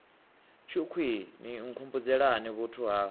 tshukhwii ni nkhumbudzelani vhuthu ha